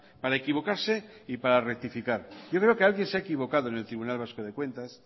para equivocarse y para rectificar yo creo que alguien se ha equivocado en el tribunal vasco de cuentas